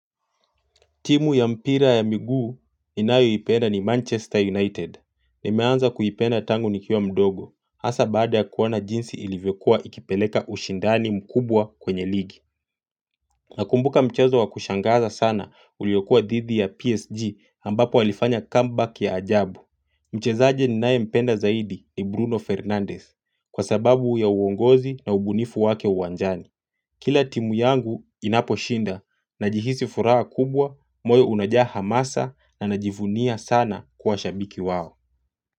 Timu ya mpira ya miguu ninayoipenda ni Manchester United. Nimeanza kuipenda tangu nikiwa mdogo. Hasa baada ya kuona jinsi ilivyokuwa ikipeleka ushindani mkubwa kwenye ligi. Nakumbuka mchezo wa kushangaza sana uliokua dhidu ya PSG ambapo walifanya comeback ya ajabu. Mchezaji ninaye mpenda zaidi ni Bruno Fernandez kwa sababu ya uongozi na ubunifu wake uwanjani. Kila timu yangu inaposhinda najihisi furaha kubwa moyo unajaa hamasa na najivunia sana kuwa shabiki wao.